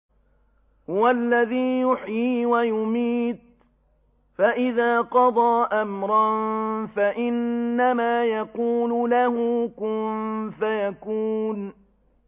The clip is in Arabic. هُوَ الَّذِي يُحْيِي وَيُمِيتُ ۖ فَإِذَا قَضَىٰ أَمْرًا فَإِنَّمَا يَقُولُ لَهُ كُن فَيَكُونُ